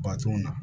Baton na